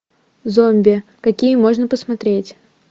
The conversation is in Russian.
зомби какие можно посмотреть